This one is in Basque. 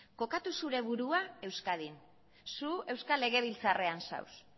kokatu zure burua euskadin zu euskal legebiltzarrean zaude